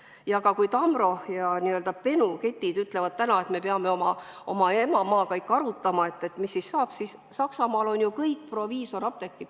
Ja kui Tamro ja Benu ketid ütlevad täna, et me peame ikka oma emamaaga ka läbi arutama, mis saab, siis Saksamaal on ju kõik apteegid proviisorapteegid.